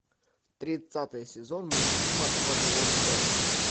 тридцатый сезон мультфильма вавилон пять